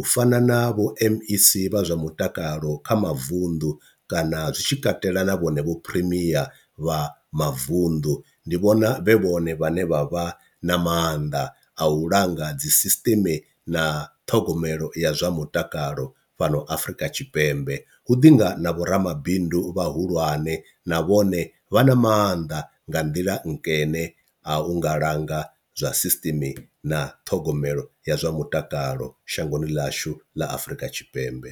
u fana na vho mec vha zwa mutakalo kha mavunḓu kana zwitshi katela na vhone vho primeir vha mavunḓu. Ndi vhona vhe vhone vhane vha vha na maanḓa a u langa dzi sisiṱeme na ṱhogomelo ya zwa mutakalo fhano Afrika Tshipembe, hu ḓi nga na vho ramabindu vhahulwane na vhone vha na maanḓa nga nḓila nkene a u nga langa zwa system na ṱhogomelo ya zwa mutakalo shangoni ḽashu ḽa Afrika Tshipembe.